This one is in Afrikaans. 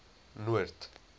noord